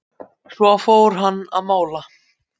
Svo fór hann að mála.